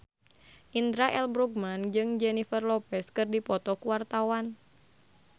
Indra L. Bruggman jeung Jennifer Lopez keur dipoto ku wartawan